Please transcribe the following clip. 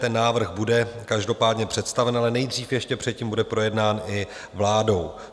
Ten návrh bude každopádně představen, ale nejdřív ještě předtím bude projednán i vládou.